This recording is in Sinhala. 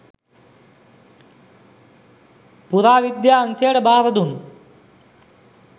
පුරාවිද්‍යා අංශයට භාරදුන්